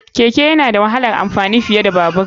Keke yana da wahalar amfani fiye da Babur.